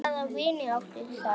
Hvaða vini áttu þær?